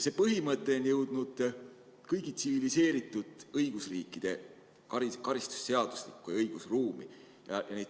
See põhimõte on jõudnud kõigi tsiviliseeritud õigusriikide karistusseadustikesse ja õigusruumi.